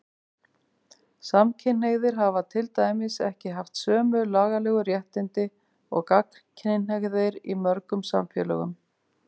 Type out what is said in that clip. Samkynhneigðir hafa til dæmis ekki haft sömu lagalegu réttindi og gagnkynhneigðir í mörgum samfélögum.